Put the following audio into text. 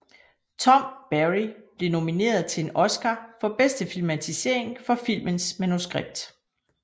Tom Barry blev nomineret til en Oscar for bedste filmatisering for filmens manuskript